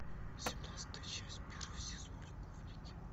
семнадцатая часть первый сезон любовники